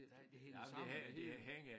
Det hænger sammen det hele